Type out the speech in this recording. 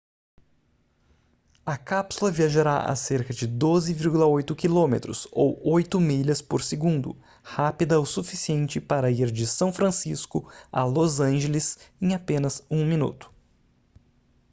a cápsula viajará a cerca de 12,8 km ou 8 milhas por segundo rápida o suficiente para ir de são francisco a los angeles em apenas um minuto